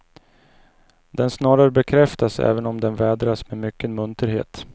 Den snarare bekräftas även om den vädras med mycken munterhet.